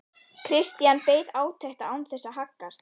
Christian beið átekta án þess að haggast.